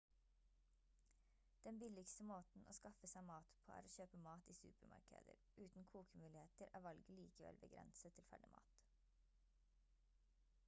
den billigste måten å skaffe seg mat på er å kjøpe mat i supermarkeder uten kokemuligheter er valget likevel begrenset til ferdigmat